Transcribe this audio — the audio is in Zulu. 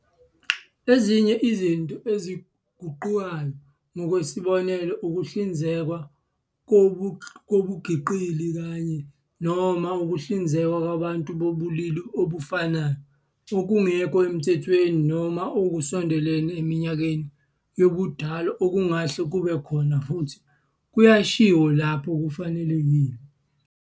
Ezinye izinto eziguqukayo, ngokwesibonelo ukuhlinzekwa kobungqingili kanye, noma ukuhlinzekwa kwabantu bobulili obufanayo okungekho emthethweni noma okusondele eminyakeni yobudala okungahle kube khona futhi kuyashiwo lapho kufanelekile.